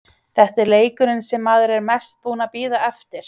Þetta er leikurinn sem maður er mest búinn að bíða eftir.